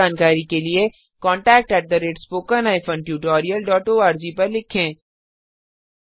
अधिक जानकारी के लिए contactspoken tutorialorg पर लिखें